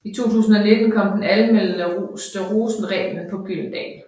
I 2019 kom den anmelderroste Rosenreglen på Gyldendal